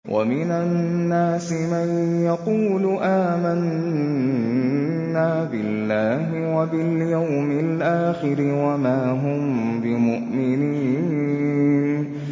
وَمِنَ النَّاسِ مَن يَقُولُ آمَنَّا بِاللَّهِ وَبِالْيَوْمِ الْآخِرِ وَمَا هُم بِمُؤْمِنِينَ